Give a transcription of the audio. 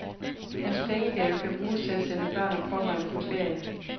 Hans pengegave kan bruges til at sende børn og pårørende på ferie.